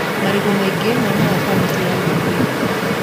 Marigũ maingĩ maumaga kautĩ ya Gĩthii